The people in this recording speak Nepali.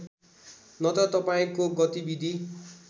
नत्र तपाईँको गतिविधि